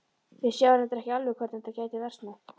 Við sáum reyndar ekki alveg hvernig þetta gæti versnað.